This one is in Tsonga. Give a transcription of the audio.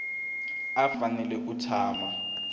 a a fanele ku tshama